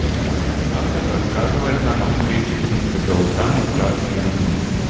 автор рассказывает нам о встрече принца гаутамы с разными людьми